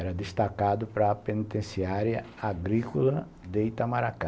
Era destacado para a penitenciária agrícola de Itamaracá.